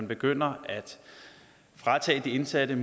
begynder at fratage de indsatte